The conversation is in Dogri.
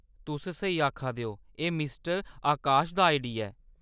तुस स्हेई आखा दे ओ, एह्‌‌ मिस्टर आकाश दा आईडी ऐ।